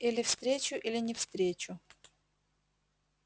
или встречу или не встречу